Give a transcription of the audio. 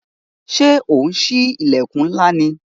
Ṣé ò ń sí ilẹkun ńlá ni?